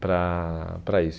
para para isso.